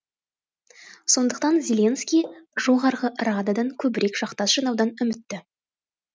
сондықтан зеленский жоғарғы рададан көбірек жақтас жинаудан үмітті